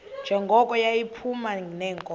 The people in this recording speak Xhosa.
njengoko yayiphuma neenkomo